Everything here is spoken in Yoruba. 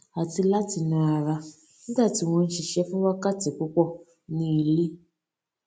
àti láti na ara nígbà tí wọn n ṣiṣẹ fún wákàtí púpọ ní ilé